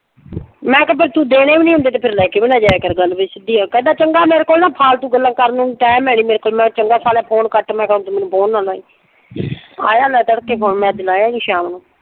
ਮੈਂ ਕਿਹਾ ਤੂੰ ਫਿਰ ਦੇਣੇ ਨਈਂ ਤੇ ਫਿਰ ਲੈ ਕੇ ਵੀ ਨਾ ਜਾਇਆ ਕਰ। ਗੱਲ ਫਿਰ ਸਿੱਧੀ ਏ। ਕਹਿੰਦਾ ਚੰਗਾ ਮੇਰੇ ਕੋਲ ਨਾ ਫਾਲਤੂ ਗੱਲਾਂ ਕਰਨ ਨੂੰ ਟਾਈਮ ਹੈ ਨਈਂ ਮੇਰੇ ਕੋਲ। ਮੈਂ ਕਿਹਾ ਚੰਗਾ ਸਾਲਿਆ ਫੋਨ ਕੱਟ, ਮੈਂ ਕਿਹਾ ਮੈਨੂੰ ਫੋਨ ਨਾ ਲਾਈਂ। ਆਇਆ ਲੈ ਤੜਕੇ ਫੋਨ ਮੈਂ ਅੱਜ ਸ਼ਾਮ ਨੂੰ।